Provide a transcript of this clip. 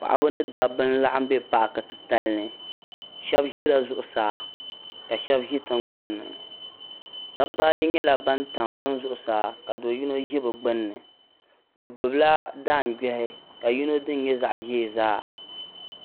Paɣaba ni daba n laɣim be paaki ti talini. shebi ʒɛla zuɣu saa kashebi ʒi tiŋ gban ni.daba ayi nyala ban tam bini zuɣusaa ka do' yinɔ ʒi bɛ gbunni bɛ gbubi la daan gbehi ka yinɔ dini nyɛ zaɣiʒɛɛzaa.